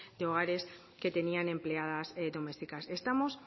de hogares que tenían empleadas domésticas estamos